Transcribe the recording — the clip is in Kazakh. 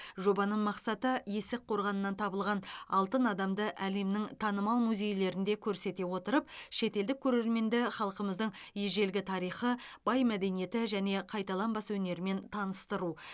жобаның мақсаты есік қорғанынан табылған алтын адамды әлемнің танымал музейлерінде көрсете отырып шетелдік көрерменді халқымыздың ежелгі тарихы бай мәдениеті және қайталанбас өнерімен таныстыру